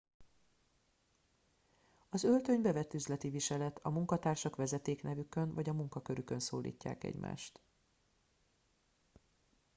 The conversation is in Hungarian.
az öltöny bevett üzleti viselet a munkatársak vezetéknevükön vagy a munkakörükön szólítják egymást